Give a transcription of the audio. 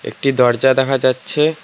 একটি দরজা দেখা যাচ্ছে।